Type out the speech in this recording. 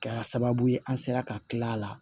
Kɛra sababu ye an sera ka kil'a la